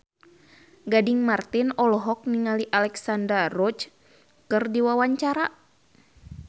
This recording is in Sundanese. Gading Marten olohok ningali Alexandra Roach keur diwawancara